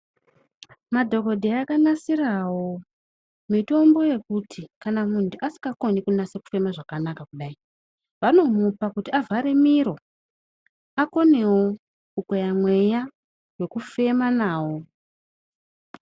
Madhokodheya akanasirawo mitombo yekuti kana muntu asinga koni kubasa kufema zvakanaka kudai vanomupa kuti avhare miro akonewo kukweya mweya nekufema nawo.